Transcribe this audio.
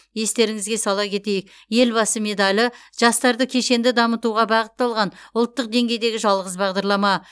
естеріңізге сала кетейік елбасы медалі жастарды кешенді дамытуға бағытталған ұлттық деңгейдегі жалғыз бағдарлама